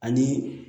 Ani